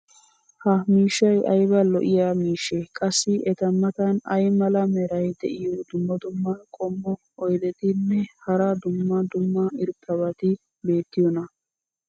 ha miishshay ayba lo'iya miishshee? qassi eta matan ay mala meray diyo dumma dumma qommo oydetinne hara dumma dumma irxxabati beettiyoonaa?